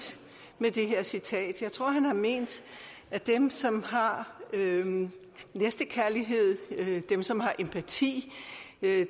med det her citat jeg tror han har ment at dem som har næstekærlighed dem som har empati